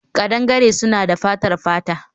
Kadangare suna da fatar fata